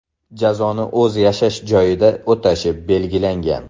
Jazoni o‘z yashash joyida o‘tashi belgilangan.